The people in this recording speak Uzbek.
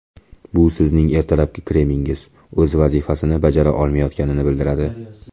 Bu sizning ertalabki kremingiz o‘z vazifasini bajara olmayotganini bildiradi.